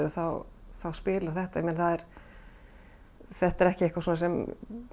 spilar þetta þetta er ekki eitthvað sem